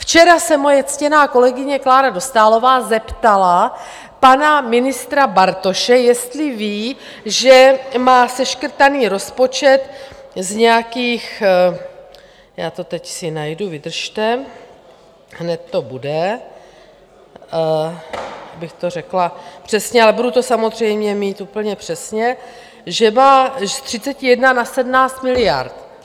Včera se moje ctěná kolegyně Klára Dostálová zeptala pana ministra Bartoše, jestli ví, že má seškrtaný rozpočet z nějakých, já to teď si najdu, vydržte, hned to bude, abych to řekla přesně, ale budu to samozřejmě mít úplně přesně, že z 31 na 17 miliard.